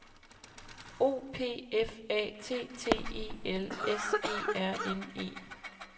O P F A T T E L S E R N E